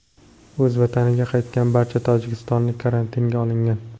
O‘z vataniga qaytgan barcha tojikistonlik karantinga olingan.